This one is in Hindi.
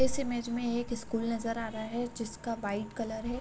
इस इमेज में एक स्कूल नज़र आ रहा है जिसका वाइट कलर है।